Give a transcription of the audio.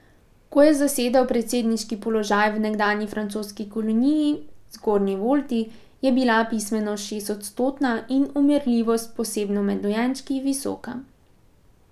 Ko je zasedel predsedniški položaj v nekdanji francoski koloniji, Zgornji Volti, je bila pismenost šestodstotna in umrljivost, posebno med dojenčki, visoka.